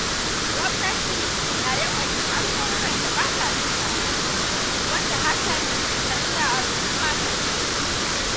Gwamnati na yawan yin alƙawuran da ba ta cikawa, wanda hakan kan sa al'umma takaici.